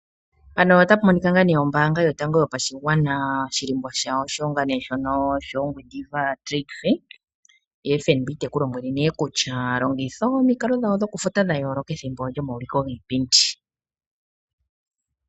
Panoramic ota pa moniika ngaa ne ombaanga yotango yopashigwana, oshilimbo shawo osho wo ngaa ne shomaulikilo giipindi yangwediva. Ye Fnb teku lombwele ne kutya longitha, omikalo dhawo dha yooloka dhokufuta pethimbo lyomaulikilo giipindi.